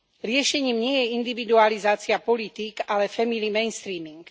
Riešením nie je individualizácia politík, ale family mainstreaming.